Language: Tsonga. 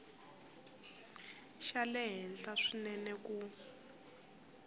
xa le henhla swinene ku